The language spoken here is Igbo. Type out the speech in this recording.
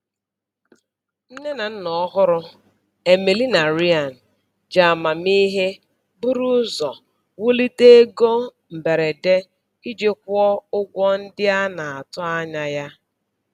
Nne na nna ọhụrụ, Emily na Ryan, ji amamihe buru ụzọ wulite ego mberede iji kwụọ ụgwọ ndị a na-atụ anya ya.